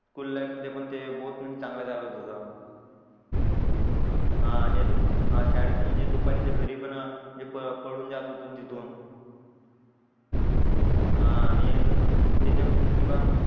school life मध्ये पण ते बोथ चांगलं काळात होता हा आणि अजून शाळेतून दुपारी जे घरी पण जे पळून जात होतो तिथून हा आणि अजून उतेजक म्हणजे किंवा